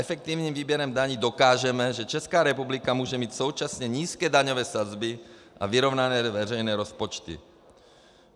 Efektivním výběrem daní dokážeme, že Česká republika může mít současně nízké daňové sazby a vyrovnané veřejné rozpočty.